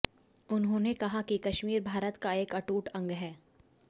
उन्होंने कहा कि कश्मीर भारत का एक अटूट अंग है